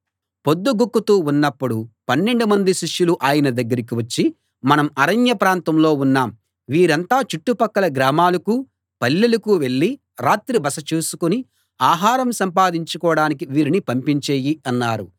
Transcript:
పొద్దు గుంకుతూ ఉన్నప్పుడు పన్నెండుమంది శిష్యులు ఆయన దగ్గరికి వచ్చి మనం అరణ్య ప్రాంతంలో ఉన్నాం వీరంతా చుట్టుపక్కల గ్రామాలకూ పల్లెలకూ వెళ్ళి రాత్రి బస చూసుకుని ఆహారం సంపాదించుకోడానికి వీరిని పంపించెయ్యి అన్నారు